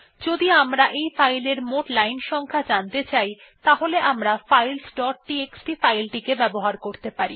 যদি আমরা এই ফাইলের মোট লাইন সংখ্যা জানতে চাই তাহলে আমরা ফাইলস ডট টিএক্সটি ফাইল টিকে ব্যবহার করতে পারি